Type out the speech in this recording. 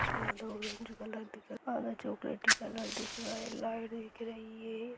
उसमें आधा orange colour दिख और चॉकलेटी कलर दिख रहा है लाइट दिख रही है।